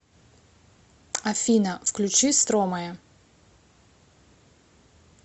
афина включи стромае